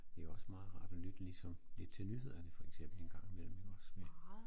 Det også meget rart at lytte ligesom lidt til nyhederne for eksempel en gang imellem ikke også med